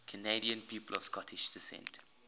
canadian people of scottish descent